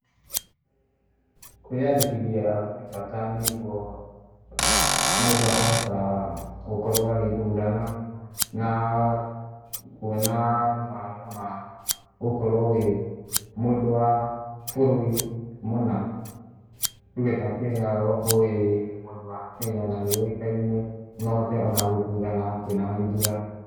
Kwĩyandĩkithia gwĩ bata nĩguo mũndũ akahota gũkorwo agĩthurana na kuona mawega ma gũkorwo wĩ mũndũ wa bũrũri mũna. Tuge ta kenya, ũgakorwo wĩ mũndũ wa kenya na nĩũĩkaine no ũhote ona gũthurana kwĩ na ithurano.